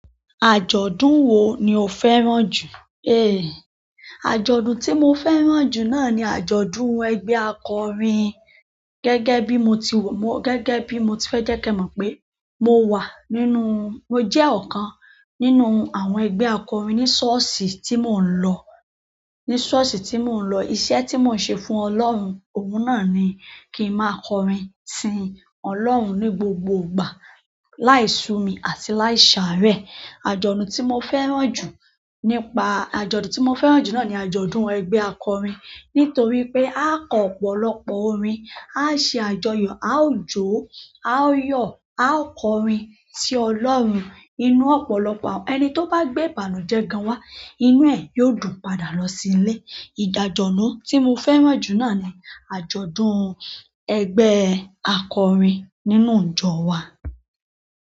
Àjọ̀dún wo ni o fẹ́ràn jù? Eh! Àjọ̀dún tí mo fẹ́ràn jù náà ni àjọ̀dún ẹgbẹ́ akọrin. Gẹ́gẹ́ bí mo ti wò, mo, gẹ́gẹ́ bí mo ti fẹ́ jẹ́ kí ẹ mọ̀ pé mo wà nínú, mo jẹ́ ọ̀kan nínú àwọn ẹgbẹ́ akọrin ní ṣọ́ọ̀ṣì tí mò ń lọ, ní ṣọ́ọ̀ṣì tí mò ń lọ. Iṣẹ́ tí mò ń ṣe fún Ọlọ́run, ohun náà ni kí n má a kọrin si Ọlọ́run ní gbogbo ìgbà láì sú mi àti láì ṣàárẹ̀. Àjọ̀dún tí mo fẹ́ràn jù nípa àjọ̀dùn tí mo fẹ́ràn jù náà ni àjọ̀dún ẹgbẹ́ akọrin nítorí pé a kọ ọ̀pọ̀lọpọ̀ orin, a ṣe àjọyọ̀, a ó jó, a ó yọ̀, a ó kọrin si Ọlọ́run. Inú ọ̀pọ̀lọpọ̀ ẹni tó bá gbé ìbànújẹ́ gan wá, inú ẹ̀ yóò dùn padà lọ sílé. Ìdàjọ̀ nu tí mo fẹ́ràn jù náà ni àjọ̀dún ẹgbẹ́ akọrin nínú ìjọ wa.